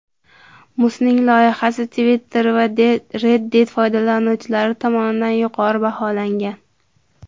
Musning loyihasi Twitter va Reddit foydalanuvchilari tomonidan yuqori baholangan.